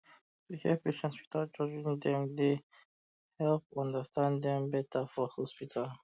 to hear patient without judge dem dey um help understand dem better for hospital